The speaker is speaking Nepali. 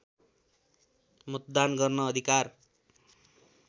मतदान गर्न अधिकार